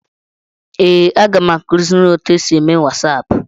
Ee, aga m akụziri gị otu esi eme wasaapụ.